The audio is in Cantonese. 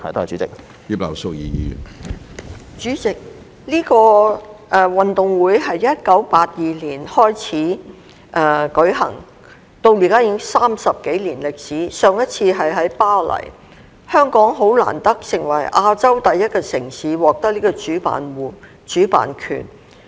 主席，這個運動會在1982年開始舉行，至今已經有30多年歷史，上一次是在巴黎舉行，香港很難得成為第一個獲得這個主辦權的亞洲城市。